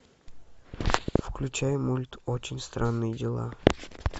включай мульт очень странные дела